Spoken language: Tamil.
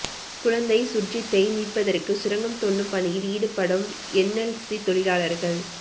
குழந்தை சுர்ஜித்தை மீட்பதற்கு சுரங்கம் தோண்டும் பணியில் ஈடுபடும் என்எல்சி தொழிலாளர்கள்